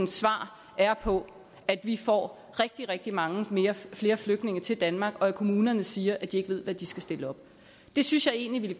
svar er på at vi får rigtig rigtig mange flere flygtninge til danmark og at kommunerne siger at de ikke ved hvad de skal stille op det synes jeg egentlig